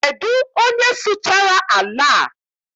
Kedụ onye sụchara ala a?